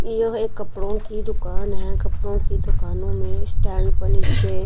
यह एक कपड़ों की दुकान है कपड़ों की दुकानों में स्टैंड पर नीचे--